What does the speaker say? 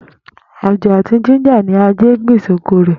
Àjó àti jíńjà ni Adé gbìn sí oko rè̩